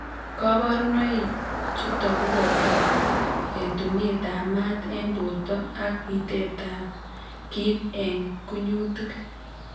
kaborunoik chutok koboto etunetab maat eng' borto ak bitetab kiit eng' kunyutik